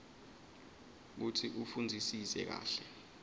kutsi ufundzisise kahle